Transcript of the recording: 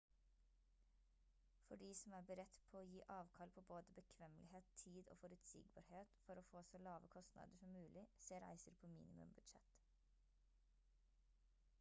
for de som er beredt på å gi avkall på både bekvemmelighet tid og forutsigbarhet for å få så lave kostnader som mulig se reiser på minimum budsjett